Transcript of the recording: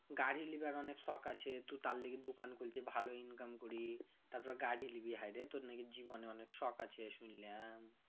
গাড়ি লিবার অনেক শখ আছে তু তার লিগা দুকান খুলছি ভালো income করি তার পর গাড়ি লিবি হায়রে তর না কি জীবনে অনেক শখ আছে শুইনলাম